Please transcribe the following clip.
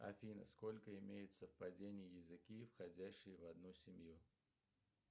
афина сколько имеют совпадений языки входящие в одну семью